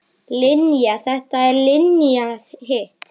Linja þetta og Linja hitt.